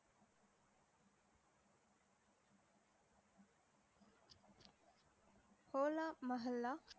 Cola Mohalla